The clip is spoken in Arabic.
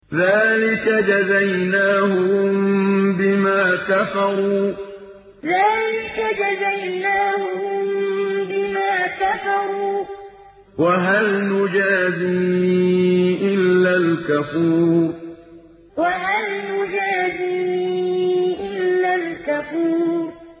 ذَٰلِكَ جَزَيْنَاهُم بِمَا كَفَرُوا ۖ وَهَلْ نُجَازِي إِلَّا الْكَفُورَ ذَٰلِكَ جَزَيْنَاهُم بِمَا كَفَرُوا ۖ وَهَلْ نُجَازِي إِلَّا الْكَفُورَ